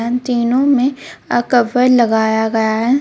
हन तीनों में लगाया गया है.